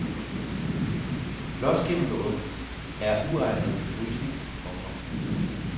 Blåskimmeloste er uegnede til frysning. punktum